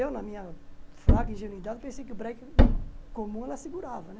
Eu, na minha fraca ingenuidade, pensei que o breque comum ela segurava, né?